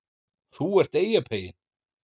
ÞÚ ERT EYJAPEYINN